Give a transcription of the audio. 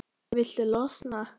Viltu losna-?